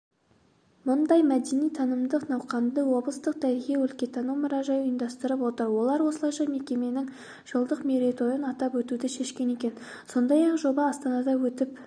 мұндай мәдени-танымдық науқанды облыстық тарихи-өлкетану мұражай ұйымдастырып отыр олар осылайша мекеменің жылдық мерейтойын атап өтуді шешкен екен сондай-ақ жоба астанада өтіп